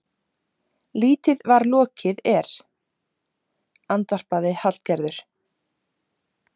Lítið var lokið er, andvarpaði Hallgerður.